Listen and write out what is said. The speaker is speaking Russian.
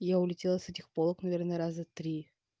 я улетела с этих полок наверное раза три